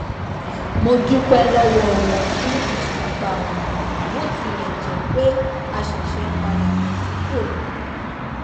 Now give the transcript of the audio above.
mo dúpé lówó wọn fún ìsapá wọn bó tilè jé pé a ṣẹṣẹ ń padà bọ sípò ni